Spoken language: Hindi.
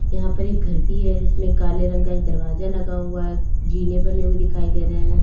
यहां पर एक घर भी है इसमें काले रंग का एक दरवाजा लगा हुआ है जीने बने हुए दिखाई दे रहे हैं।